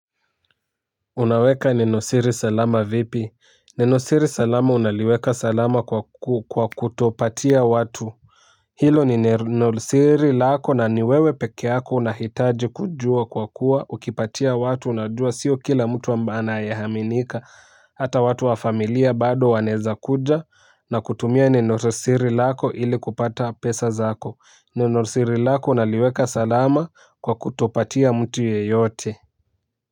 Unaweka neno siri salama vipi, neno siri salama unaliweka salama kwa kutopatia watu hilo ni nenosiri lako na ni wewe peke yako unahitaji kujua kwa kuwa ukipatia watu unajua sio kila mtu anayeaminika hata watu wa familia bado wanaeza kuja na kutumia neno siri lako ili kupata pesa zako neno siri lako unaliweka salama kwa kutopatia mtu yeyote.